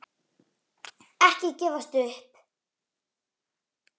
Ekki gefast upp.